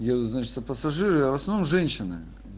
еду значит пассажиры в основном женщины